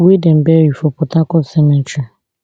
wey dem bury for port harcourt cemetery